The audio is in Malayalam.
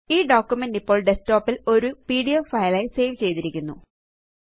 ഈ ഡോക്യുമെന്റ് ഇപ്പോള് ഡെസ്ക്ടോപ്പ് ല് ഒരു പിഡിഎഫ് ഫൈൽ ആയി സേവ് ചെയ്തിരിക്കുന്നു